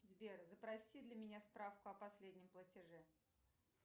сбер запроси для меня справку о последнем платеже